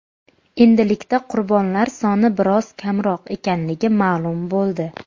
Endilikda qurbonlar soni biroz kamroq ekanligi ma’lum bo‘ldi.